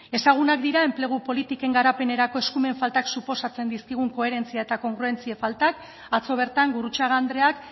ezagunak dira enplegu politiken garapenerako eskumen faltak suposatzen dizkigun koherentzia eta kongruentzia falta atzo bertan gurrutxaga andreak